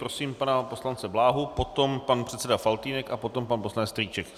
Prosím pana poslance Bláhu, potom pan předseda Faltýnek a potom pan poslanec Strýček.